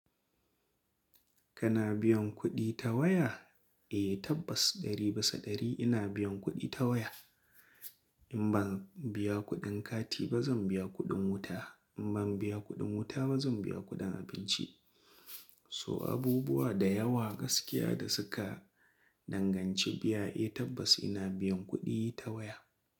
Kana biyan kuɗi ta waya? Eh tabbas ɗari bisa ɗari ina biyan kuɗi ta waya. In ban biya kuɗin kati ba zan biya kuɗin wuta, in ban biya kuɗin wuta ba zan biya kuɗin abinci. So abubuwa da yawa gaskiya da suka danganci biya eh tabbas ina biyan kuɗi ta waya.